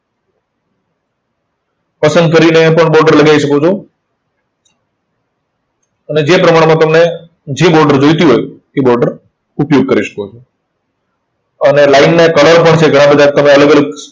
પસંદ કરીને પણ border લગાઈ શકો છો. અને જે પ્રમાણમાં તમને જે border જોઈતી હોય, એ border ઉપયોગ કરી શકો છો. અને line ને colour પણ છે, ઘણા બધા તમે અલગ અલગ